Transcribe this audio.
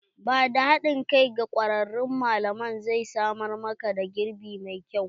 Ba da haɗin kai wa kwararun malaman zai samar ma ka girbi mai kyau.